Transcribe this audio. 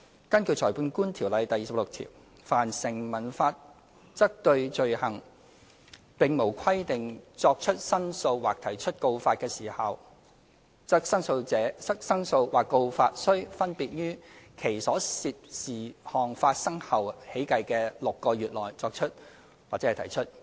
根據《裁判官條例》第26條，"凡成文法則對罪行......並無規定作出申訴或提出告發的時效，則申訴或告發須分別於其所涉事項發生後起計的6個月內作出或提出。